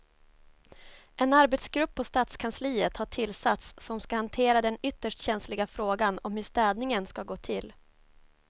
En arbetsgrupp på stadskansliet har tillsatts som ska hantera den ytterst känsliga frågan om hur städningen ska gå till.